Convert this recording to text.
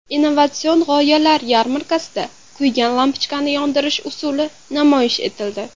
Innovatsion g‘oyalar yarmarkasida kuygan lampochkani yondirish usuli namoyish etildi.